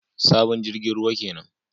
Sabon jirgin ruwa kenan